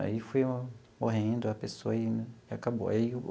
Aí foi morrendo a pessoa e acabou e aí o.